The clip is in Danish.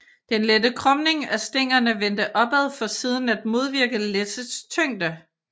Den lette krumning af stængerne vendte opad for siden at modvirke læssets tyngde